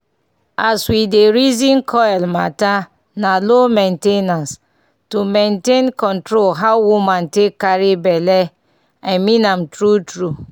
as we dey reason coil matter na low main ten ance -- to maintain control how woman wan take carry belle. i mean am true true.